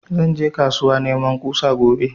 Zan je kasuwa neman ƙusa gobe